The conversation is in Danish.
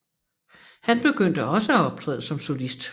Han begyndte også at optræde som solist